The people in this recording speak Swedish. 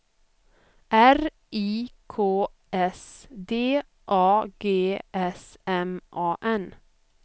R I K S D A G S M A N